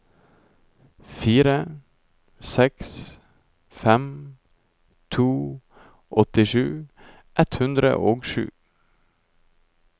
fire seks fem to åttisju ett hundre og sju